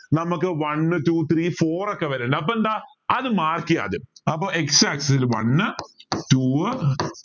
നമുക്ക് one two three four ഒക്കെ വരാ അപ്പോ എന്താ അത് mark ചെയ്യാ ആദ്യം അപ്പോ x axis one two